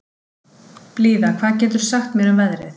Blíða, hvað geturðu sagt mér um veðrið?